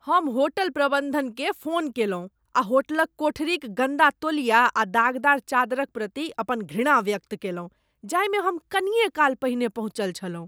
हम होटल प्रबंधनकेँ फोन कयलहुँ आ होटलक कोठरीक गन्दा तौलिया आ दागदार चादरक प्रति अपन घृणा व्यक्त कयलहुँ जाहिमे हम कनिये काल पहिने पहुँचल छलहुँ।